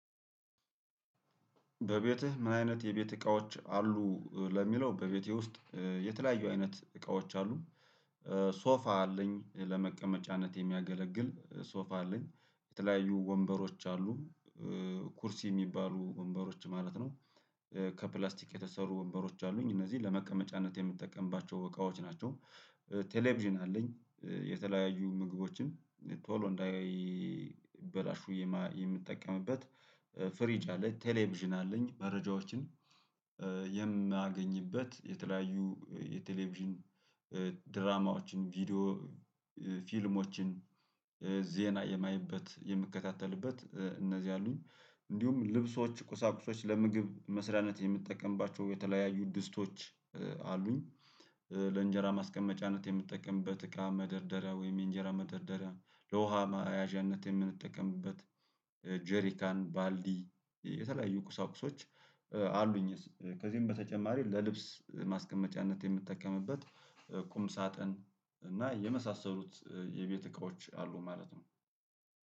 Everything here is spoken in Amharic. በቤትህ ምን አይነት የቤት እቃዎች አሉ? ለሚለው በቤቴ ውስጥ የተለያዩ አይነት እቃዎች አሉ ሶፋ አለኝ፣ ለመቀመጫነት የሚያገለግል ሶፋ አለኝ የተለያዩ ወንበሮች አሉ፣ ኩርስ የሚባሉ ወንበሮች ማለት ነው ከፕላስቲክ የተሰሩ ወንበሮች አሉኝ፣ እነዚህ ለመቀመጫነት የምጠቀምባቸው እቃዎች ናቸው። ቴሌቪዥን አለኝ የተለያዩ ምግቦችን ቶሎ እንዳይበላሹ የምትጠቀምበት ፍሪጅ አለ፣ ቴሌቪዥን አለኝ መረጃዎችን የማገኝበት የተለያዩ የቴሌቪዥን ድራማዎችን፣ ቪዲዮ ፊልሞችን፣ ዜና የማየበት የምከታተልበት እነዚህ አሉኝ። እንዲሁም ልብሶች ቁሳቁሶች ለምግብ መስራነት የምትጠቀምባቸው የተለያዩ ድስቶች አሉኝ፣ ለእንጀራ ማስቀመጫነት የምጠቀምበት እቃ መደርደሪያ ወይም የእንጀራ መደርደሪያ፣ ለውሃ መያዣነት የምንጠቀምበት ጄሪካን፣ ባልዲ የተለያዩ ቁሳቁሶች አሉኝ፣ ከዚህም በተጨማሪ ለልብስ ማስቀመጫነት የምትጠቀምበት ቁም ሳጥን እና የመሳሰሉት የቤት እቃዎች አሉ ማለት ነው።